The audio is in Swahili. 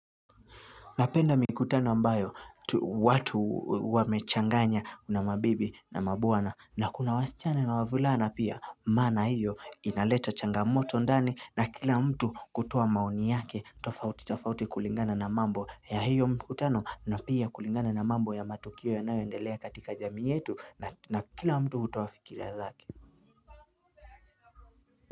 Napenda mikutano ambayo watu wamechanganya una mabibi na mabwana na kuna wasichana na wavulana pia maana hiyo inaleta changamoto ndani na kila mtu kutoa maoni yake tofauti tofauti kulingana na mambo ya hiyo mkutano na pia kulingana na mambo ya matukio yanayoendelea katika jamii yetu na kila mtu hutoa fikira zake.